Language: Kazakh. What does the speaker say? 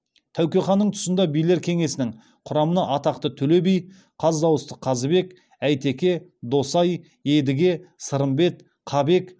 тәуке ханның тұсында билер кеңесінің құрамына атақты төле би қаз дауысты қазыбек әйтеке досай едіге сырымбет қабек